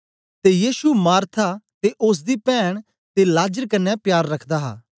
ते यीशु मार्था ते ओसदी पैन्न ते लाजर कन्ने प्यार रखदा हा